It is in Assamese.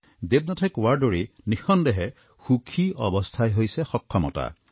দেৱনাথে কোৱাৰ দৰে নিঃসন্দেহে সুখী অৱস্থাই হৈছে সক্ষমতা